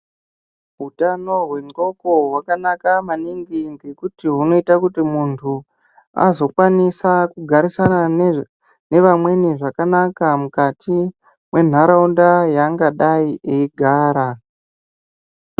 Utano hwendxondo hwakanaka maningi ngekuti hunoita kuti muntu azokwanisa kugarisana ne vamweni zvakanaka mukati mwenharaunda yangadai eyigara.